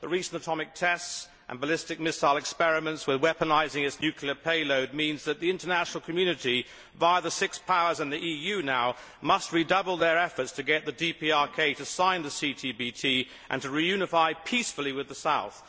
The recent atomic tests and ballistic missile experiments with weaponising its nuclear payload mean that the international community, via the Six Powers, and the EU now, must redouble its efforts to get the DPRK to sign the CTBT and reunify peacefully with the South.